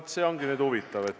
No see on nüüd huvitav olukord.